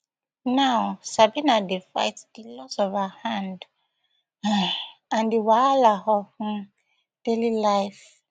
now sabina dey fight di loss of her hand um and di wahala of um daily life